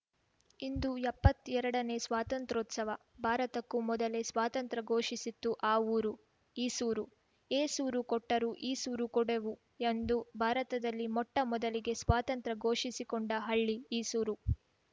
ಇಂದು ಎಪ್ಪತ್ತೆರಡನೇ ಸ್ವಾತಂತ್ರ್ಯೋತ್ಸವ ಭಾರತಕ್ಕೂ ಮೊದಲೇ ಸ್ವಾತಂತ್ರ್ಯ ಘೋಷಿಸಿತ್ತು ಆ ಊರು ಈಸೂರು ಏಸೂರು ಕೊಟ್ಟರೂ ಈಸೂರು ಕೊಡೆವು ಎಂದು ಭಾರತದಲ್ಲಿ ಮೊಟ್ಟಮೊದಲಿಗೆ ಸ್ವಾತಂತ್ರ್ಯ ಘೋಷಿಸಿಕೊಂಡ ಹಳ್ಳಿ ಈಸೂರು